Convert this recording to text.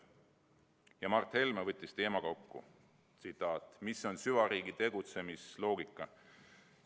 " Ja Mart Helme võttis teema kokku: "Mis on süvariigi tegutsemisloogika?